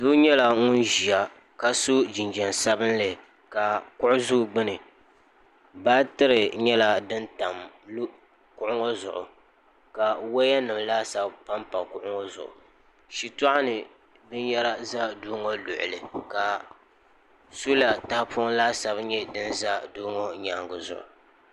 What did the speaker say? doo nyɛla ŋun ʒiya ka so jinjɛm sabinli ka kuɣu ʒɛ o gbuni baatiri nyɛla din tam kuɣu ŋɔ zuɣu ka wɔya nim laasabu panpa kuɣu ŋɔ zuɣu shitɔɣu ni binyɛra ʒɛ doo ŋɔ luɣuli ka soola tahapɔŋ laasabu nyɛ din ʒɛ Doo ŋɔ nyaangi zuɣu